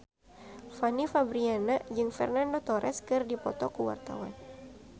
Fanny Fabriana jeung Fernando Torres keur dipoto ku wartawan